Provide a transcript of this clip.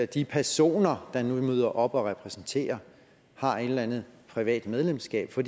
de personer der møder op og repræsenterer har et eller andet privat medlemskab for